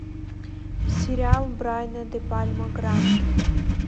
сериал брайана де пальма гранд